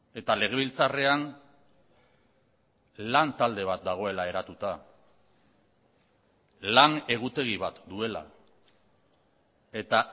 eta legebiltzarrean lan talde bat dagoela eratuta lan egutegi bat duela eta